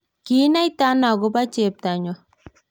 kiinaitano akobo chepto nyo?